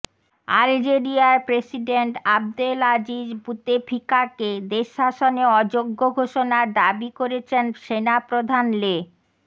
আলজেরিয়ার president Abdel Aziz বুতেফিকাকে দেশ শাসনে অযোগ্য ঘোষণার দাবি করেছেন সেনাপ্রধান লে